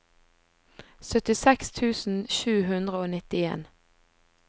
syttiseks tusen sju hundre og nittien